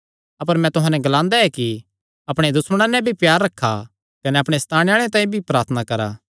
अपर मैं तुहां नैं एह़ ग्लांदा ऐ कि अपणे दुश्मणा नैं भी प्यार रखा कने अपणे सताणे आल़ेआं तांई प्रार्थना करा